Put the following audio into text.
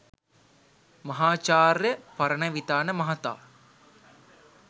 මහාචාර්ය පරණවිතාන මහතා